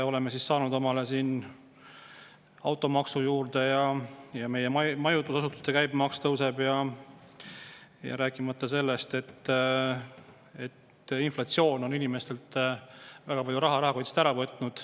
Oleme saanud omale automaksu juurde ja meie majutusasutuste käibemaks tõuseb, rääkimata sellest, et inflatsioon on inimestelt väga palju raha rahakotist ära võtnud.